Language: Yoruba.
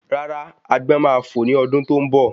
Béèni agbọ́n máa fò ni ọdún tó ń bọ̀